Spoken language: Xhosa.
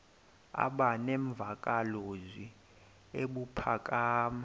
aba nemvakalozwi ebuphakama